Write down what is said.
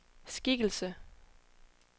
skikkelse